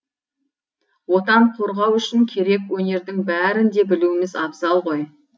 отан қорғау үшін керек өнердің бәрін де білуіміз абзал ғой